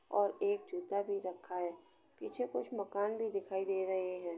और एक जूता भी रखा है। पीछे कुछ मकान भी दिखाई दे रहे हैं।